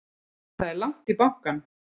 Það er langt í bankann!